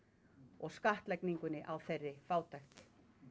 og skattlagningunni á þeirri fátækt